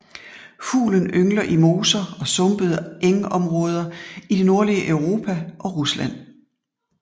Fuglen yngler i moser og sumpede engområder i det nordlige Europa og Rusland